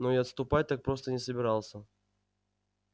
но и отступать так просто не собирался